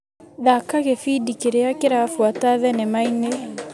Thaka gĩbindi kĩrĩa kĩrabuata thinema-inĩ .